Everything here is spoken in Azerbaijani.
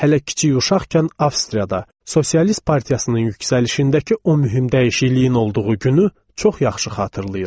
Hələ kiçik uşaqkən Avstriyada sosialist partiyasının yüksəlişindəki o mühüm dəyişikliyin olduğu günü çox yaxşı xatırlayıram.